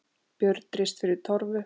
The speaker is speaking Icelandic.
Björn rist fyrir torfu.